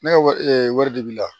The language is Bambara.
Ne ka wari wari de b'i la